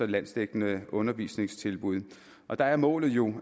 landsdækkende undervisningstilbud og der er målet jo